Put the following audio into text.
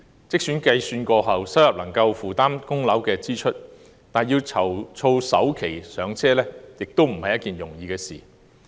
即使經過計算後，他們的收入能夠負擔供樓支出，要籌措首期"上車"亦非易事。